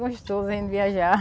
Gostoso, hein, viajar.